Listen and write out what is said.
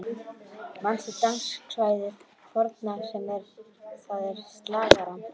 Manstu danskvæðið forna, það er slagarann